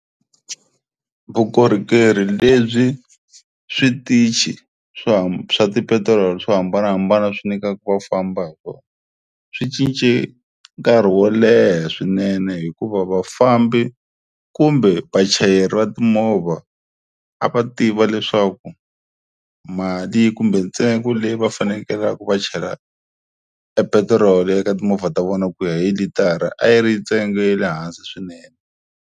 Vukorhokeri lebyi switichi swa swa tipetirolo swo hambanahambana swi nyikaku ku famba hi kona, swi cince nkarhi wo leha swinene hikuva vafambi kumbe vachayeri va timovha a va tiva leswaku mali kumbe ntsengo leyi va fanekelaku va chela e petiroli eka timovha ta vona ku ya hi litara a yi ri ntsengo ya le hansi swinene.